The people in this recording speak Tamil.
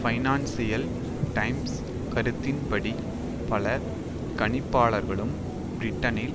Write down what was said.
பைனான்ஸியல் டைம்ஸ் கருத்தின்படி பல கணிப்பாளர்களும் பிரிட்டனில்